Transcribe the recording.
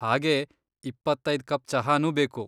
ಹಾಗೇ ಇಪ್ಪತ್ತೈದ್ ಕಪ್ ಚಹಾನೂ ಬೇಕು.